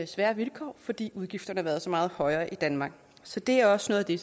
svære vilkår fordi udgifterne har været så meget højere i danmark så det er også noget af det